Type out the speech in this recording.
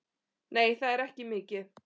Nei, það er ekki mikið.